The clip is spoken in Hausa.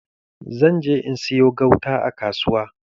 Zan je in sayo gauta a kasuwa.